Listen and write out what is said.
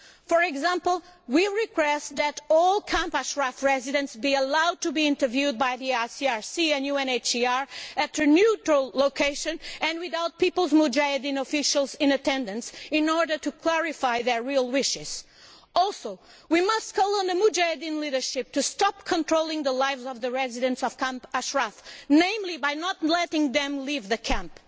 For example, we request that all Camp Ashraf residents be allowed to be interviewed by the ICRC and UNHCR at a neutral location and without People's Mujahedin officials in attendance, in order to clarify their real wishes. Also we must call on the Mujahedin leadership to stop controlling the lives of the residents of Camp Ashraf, namely by not letting them leave the camp.